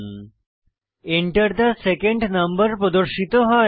Enter the second number প্রদর্শিত হয়